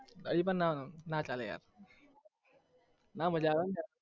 પણ, ન ના ચાલે યાર ના મજા આવે